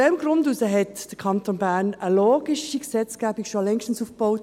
Aus diesem Grund hat der Kanton Bern längst eine logische Gesetzgebung aufgebaut.